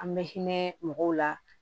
An bɛ hinɛ mɔgɔw la